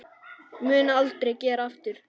Mun aldrei gera aftur.